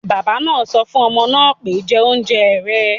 Bàbá náà sọ fún ọmọ náà pé, 'jẹ oúnjẹ rẹ̀